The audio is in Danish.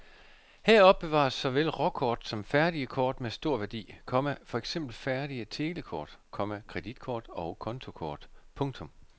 Her opbevares såvel råkort som færdige kort med stor værdi, komma for eksempel færdige telekort, komma kreditkort og kontokort. punktum